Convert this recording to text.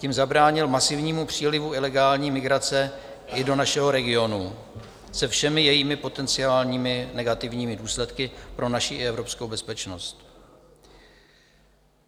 Tím zabránil masivnímu přílivu ilegální migrace i do našeho regionu se všemi jejími potenciálními negativními důsledky pro naši i evropskou bezpečnost.